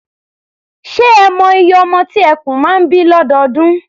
Ṣé ẹ mọ iye ọmọ tí eku máa ń bí lọ́dọọdún?